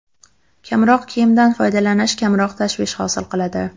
Kamroq kiyimdan foydalanish kamroq tashvish hosil qiladi.